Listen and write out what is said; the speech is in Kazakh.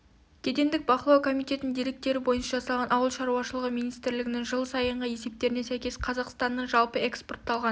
кедендік бақылау комитетінің деректері бойынша жасалған ауыл шаруашылығы министрлігінің жыл сайынғы есептеріне сәйкес қазақстанның жылы экспортталған